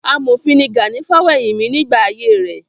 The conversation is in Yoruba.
Amòfin ni Gani Fawehinmi nígbà ayé rẹ̀.